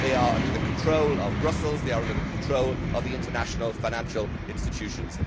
They are under the control of Brussels and they are under the control of the international financial institutions.